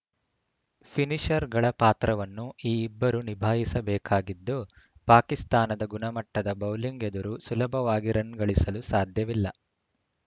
ಫಿನಿಶರ್‌ಗಳ ಪಾತ್ರವನ್ನು ಈ ಇಬ್ಬರು ನಿಭಾಯಿಸಬೇಕಾಗಿದ್ದು ಪಾಕಿಸ್ತಾನದ ಗುಣಮಟ್ಟದ ಬೌಲಿಂಗ್‌ ಎದುರು ಸುಲಭವಾಗಿ ರನ್‌ ಗಳಿಸಲು ಸಾಧ್ಯವಿಲ್ಲ